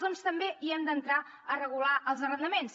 doncs també hem d’entrar a regular hi els arrendaments